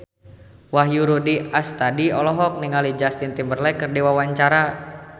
Wahyu Rudi Astadi olohok ningali Justin Timberlake keur diwawancara